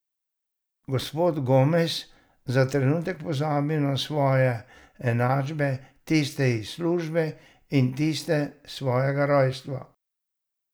Gospod Gomez za trenutek pozabi na svoje enačbe, tiste iz službe in tiste svojega rojstva.